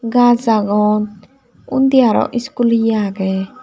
gaaj agon undi aro school eya agey.